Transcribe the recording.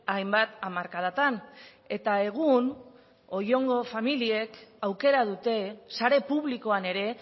hainbat hamarkadatan eta egun oiongo familiek aukera dute sare publikoan ere